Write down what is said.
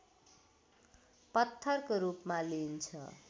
पत्थरको रूपमा लिइन्छ